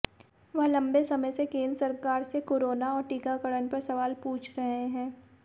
वह लंबे समय से केंद्र सरकार से कोरोना और टीकाकरण पर सवाल पूछ रहे है